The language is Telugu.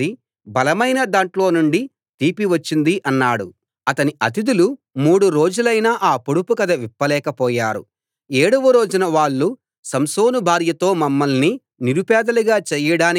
అప్పుడు వారితో సంసోను ఇలా చెప్పాడు తినే దాంట్లోనుండి తిండి వచ్చింది బలమైన దాంట్లోనుండి తీపి వచ్చింది అన్నాడు అతని అతిథులు మూడు రోజులైనా ఆ పొడుపు కథ విప్పలేక పోయారు